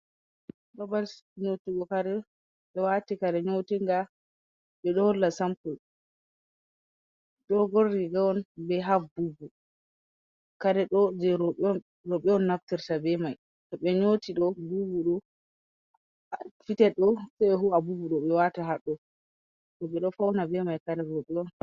Babal nyotugo kare, ɓe wati kare nyotinga jei ɗo holla sampul, dogon riga on. Ɓe haf bubu, kare ɗo jei rowɓe on, rowɓe on naftirta be mai. To ɓe nyooti ɗo, bubu ɗo, fited ɗo se be ho'a bubu ɗo ɓe wata haɗɗo. Rowɓe ɗo fauna be mai, kare rowɓe on.